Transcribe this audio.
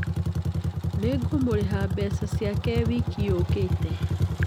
Nĩ ngũmũrĩha mbeca ciake wiki yũkĩte.